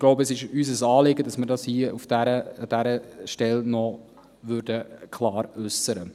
Ich glaube, es ist unser Anliegen, dass wir dies hier an dieser Stelle klar äussern.